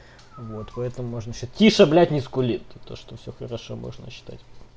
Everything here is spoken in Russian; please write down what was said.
вот поэтому можно тише блять не скулит то что все хорошо можно считать